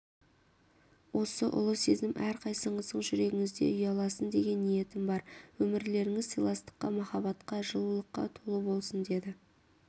осы ұлы сезім әрқайсыңыздың жүрегіңізде ұяласын деген ниетім бар өмірлеріңіз сыйластыққа махаббатқа жылулыққа толы болсын деді